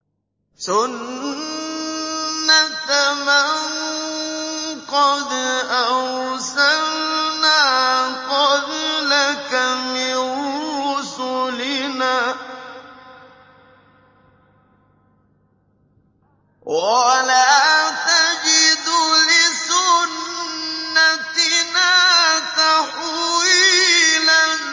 سُنَّةَ مَن قَدْ أَرْسَلْنَا قَبْلَكَ مِن رُّسُلِنَا ۖ وَلَا تَجِدُ لِسُنَّتِنَا تَحْوِيلًا